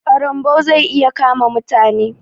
ƙarambau zai iya kama mutane.